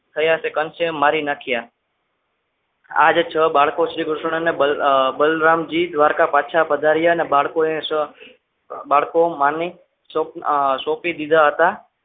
થયા તે કંસે મારી નાખ્યા આજ છ બાળકો સિવાય કૃષ્ણ અને બલરામ જી દ્વારકા પાછા પધાર્યા અને બાળકોને બાળકો માની સોંપી દીધા હતા.